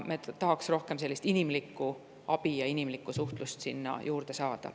Me tahaks rohkem sellist inimlikku abi ja inimlikku suhtlust sinna juurde saada.